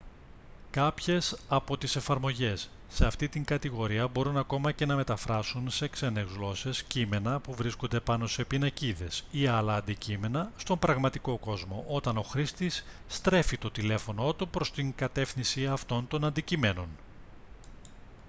κάποιες από τις εφαρμογές σε αυτή την κατηγορία μπορούν ακόμη και να μεταφράσουν σε ξένες γλώσσες κείμενα που βρίσκονται πάνω σε πινακίδες ή άλλα αντικείμενα στον πραγματικό κόσμο όταν ο χρήστης στρέφει το τηλέφωνό του προς την κατεύθυνση αυτών των αντικειμένων